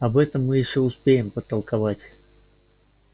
об этом мы ещё успеем потолковать